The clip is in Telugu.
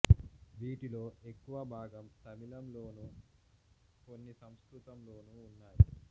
వీటిలో ఎక్కువ భాగం తమిళం లోనూ కొన్ని సంస్కృతం లోనూ ఉన్నాయి